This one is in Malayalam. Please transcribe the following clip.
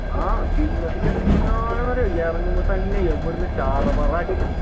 ആഹ് kill message ഇറങ്ങുമ്പ തന്നെ എവിടുന്ന് ചറ പറ അടി